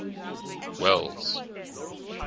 welles